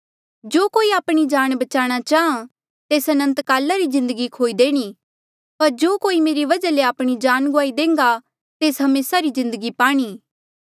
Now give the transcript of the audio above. जो कोई आपणी जान बचाणा चाहां तेस अनंतकाला री जिन्दगी खोई देणी पर जो कोई मेरे वजहा ले आपणी जान गुआई देह्न्गा तेस हमेसा री जिन्दगी पाणी